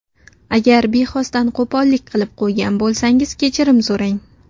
Agar bexosdan qo‘pollik qilib qo‘ygan bo‘lsangiz kechirim so‘rang.